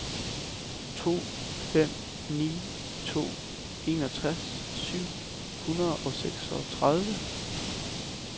to fem ni to enogtres syv hundrede og seksogtredive